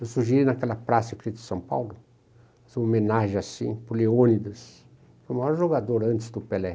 Eu sugeri naquela praça São Paulo fazer uma homenagem assim por Leônidas, o maior jogador antes do Pelé.